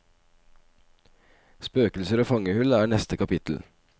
Spøkelser og fangehull er neste kapittel.